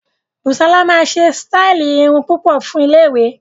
Busola máa ṣe sítáì irun púpọ̀ fún iléèwé